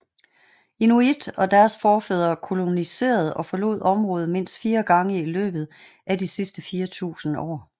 Inuit og deres forfædre koloniserede og forlod området mindst fire gange i løbet af de sidste fire tusinde år